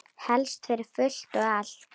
Helst fyrir fullt og allt.